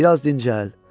Biraz dincəl.